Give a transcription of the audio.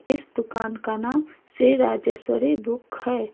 इस दुकान का नाम श्री राजेश्वरी बुक है।